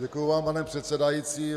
Děkuji vám, pane předsedající.